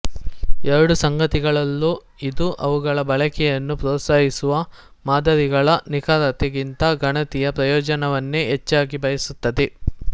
ಎರಡು ಸಂಗತಿಗಳಲ್ಲೂ ಇದು ಅವುಗಳ ಬಳಕೆಯನ್ನು ಪ್ರೋತ್ಸಾಹಿಸುವ ಮಾದರಿಗಳ ನಿಖರತೆ ಗಿಂತ ಗಣಿತೀಯ ಪ್ರಯೋಜನವನ್ನೇ ಹೆಚ್ಚಾಗಿ ಬಯಸುತ್ತದೆ